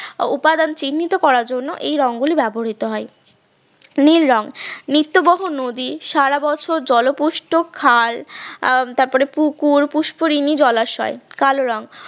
উপাদান চিহ্নিত করার জন্য এই রঙ্গলি ব্যবহৃত করা হয় নীল রঙ নিত্য বহ নদী সারা বছর জলপুষ্ট খাল আহ তারপরে পুকুর পুষ্করিণী জলাশয় কালো রং